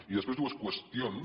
i després dues qüestions